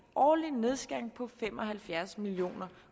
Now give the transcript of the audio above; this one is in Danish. årlig nedskæring på fem og halvfjerds million